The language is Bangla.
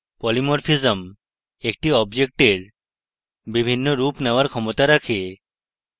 polymorphism একটি অবজেক্টের বিভিন্ন রূপ নেওয়ার ক্ষমতা রাখে